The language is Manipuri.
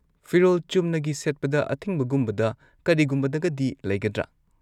ꯐꯤꯔꯣꯜ ꯆꯨꯝꯅꯒꯤ ꯁꯦꯠꯄꯗ ꯑꯊꯤꯡꯕꯒꯨꯝꯕꯗ ꯀꯔꯤꯒꯨꯝꯕꯗꯒꯗꯤ ꯂꯩꯒꯗ꯭ꯔꯥ?